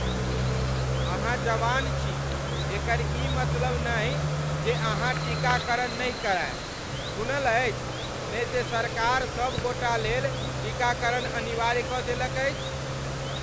अहाँ जवान छी एकर ई मतलब नहि जे अहाँ टीकाकरण नहि करायब। सुनल अछि ने जे सरकार सभ गोटालेल टीकाकरण अनिवार्य कऽ देलक अछि?